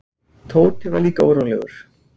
Tóti var líka órólegur.